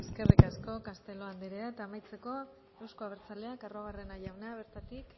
eskerrik asko castelo anderea amaitzeko euzko abertzaleak arruabarrena jauna bertatik